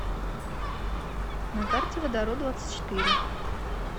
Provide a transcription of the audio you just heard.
на карте водороддвадцатьчетыре